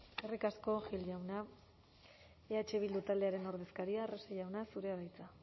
eskerrik asko gil jauna eh bildu taldearen ordezkaria arrese jauna zurea da hitza